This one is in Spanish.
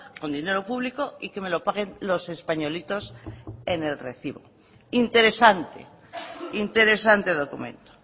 con dinero público y que me lo paguen los españolitos en el recibo interesante interesante documento